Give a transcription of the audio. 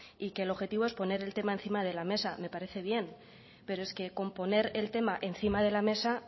y que el objetivo es poner el tema encima de la mesa me parece bien pero es que con poner el tema encima de la mesa